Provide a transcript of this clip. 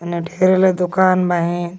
एने ढेरे ले दुकान बहिन।